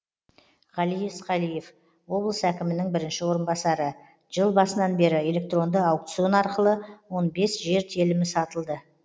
ғали есқалиев облыс әкімінің бірінші орынбасары жыл басынан бері электронды аукцион арқылы он бес жер телімі сатылды